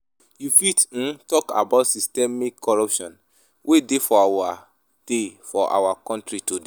you fit um talk about systemic corruption wey dey for our dey for our country today?